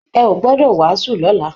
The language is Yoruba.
Ẹ ò gbọdọ wàásù lọ́la!